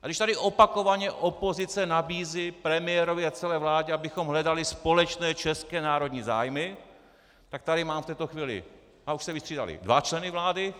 A když tady opakovaně opozice nabízí premiérovi a celé vládě, abychom hledali společné české národní zájmy, tak tady mám v této chvíli - a už se vystřídali - dva členy vlády.